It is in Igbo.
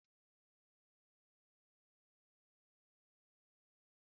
N'ụlọ nne nne, isi ofe oha bụ iwu